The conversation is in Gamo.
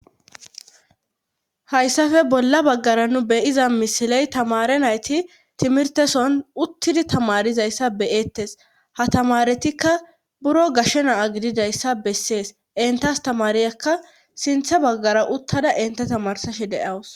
hayssafe bolla baggara nu beyiza misiley tamare nayti timirteson uttidi tamarizayssa beyettes ha tamaretikka buro gashshe naa gididayssa bessees inta astamariyekka sinthe baggara uttada inta tamarsashe deawus